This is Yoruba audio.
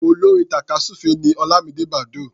Olórin tàkásùfé ni Ọlámidé Bàdóò.